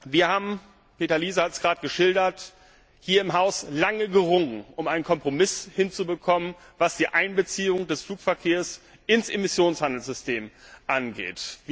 Wir haben Peter Liese hat es gerade geschildert hier im Haus lange gerungen, um einen Kompromiss hinzubekommen, was die Einbeziehung des Flugverkehrs ins Emissionshandelssystem angeht.